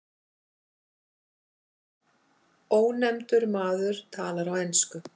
Ónefndur maður talar á ensku.